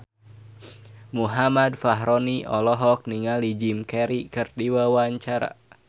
Muhammad Fachroni olohok ningali Jim Carey keur diwawancara